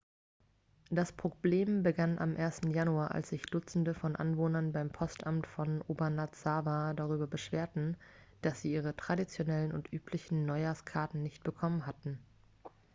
das problem begann am 1. januar als sich dutzende von anwohnern beim postamt von obanazawa darüber beschwerten dass sie ihre traditionellen und üblichen neuhjahrskarten nicht bekommen hatten